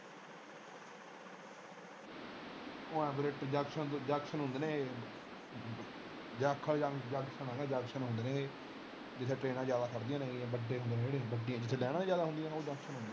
ਉਹ ਹਾਂ ਜੰਕਸ਼ਨ ਤੋਂ ਜੰਕਸ਼ਨ ਹੁੰਦੇ ਨੇ ਏਹੇ ਜਾਖਲ ਆ ਨਾ ਜੰਕਸ਼ਨ ਹੁੰਦੇ ਨੇ ਏਹੇ ਜਿਥੇ ਟ੍ਰੇਨਾਂ ਜ਼ਿਆਦਾ ਖੜਦੀਆਂ ਨੇ ਇਹ ਵੱਡੇ ਹੁੰਦੇ ਵੱਡੇ ਜਿਥੇ ਲੈਣਾ ਨੀ ਜ਼ਿਆਦਾ ਹੁੰਦੀਆਂ ਉਹ ਜੰਕਸ਼ਨ ਹੁੰਦੇ ਨੇ।